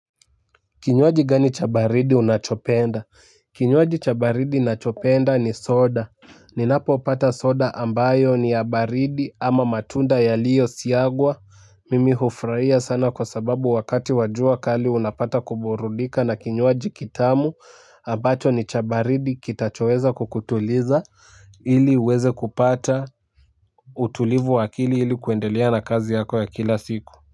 Kinywaji gani cha baridi unachopenda? Kinywaji cha baridi nachopenda ni soda. Ninapopata soda ambayo ni ya baridi ama matunda yaliyo siagwa. Mimi hufurahia sana kwa sababu wakati wa jua kali unapata kuburudika na kinywaji kitamu. Ambacho ni cha baridi kitachoweza kukutuliza. Ili uweze kupata utulivu wa akili ili kuendelea na kazi yako ya kila siku.